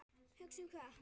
Hugsa um hvað?